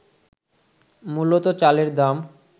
মূলত চালের দাম